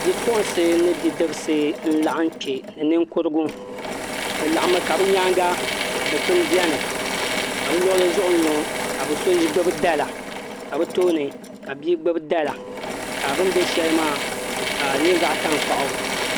Bipuɣunsi ni bidibsi n laɣam kpɛ ni ninkurigu bi laɣammi ka bi nyaanga dikpuni biɛni ka bi luɣuli zuɣu n ŋo ka bi so gbubi dala ka bi tooni ka bia gbubi dala ka bi ni bɛ shɛli maa ka di nyɛ zaɣ tankpaɣu